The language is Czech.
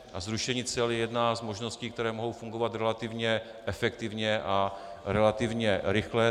A zrušení cel je jedna z možností, které mohou fungovat relativně efektivně a relativně rychle.